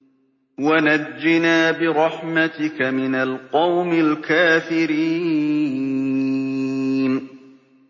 وَنَجِّنَا بِرَحْمَتِكَ مِنَ الْقَوْمِ الْكَافِرِينَ